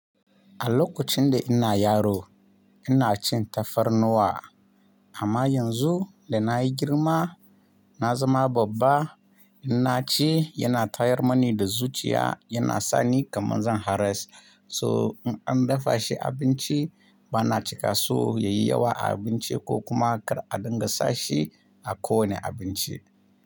A lokacin da ina yaro ina cin tafarnuwa amma yanzu da na yi girma na zama babba, ina ci yana tayar mani da zuciya yana sani kamar zan haras. So in an dafa shi abinci bana cika so ya yi yawa a abinci ko kuma a dinga sa shi a ko wane abinci.